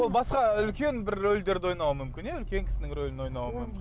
ол басқа үлкен бір рольдерді ойнауы мүмкін иә үлкен кісінің ролін ойнауы мүмкін